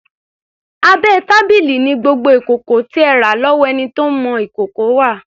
Abẹ́ tábìlì ni gbogbo ìkòkò tí ẹ rà lọ́wọ́ ẹni tí ń mọ ìkòkò wà.